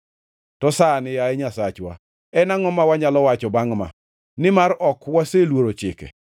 “To sani, yaye Nyasachwa, en angʼo ma wanyalo wacho bangʼ ma? Nimar ok waseluoro chike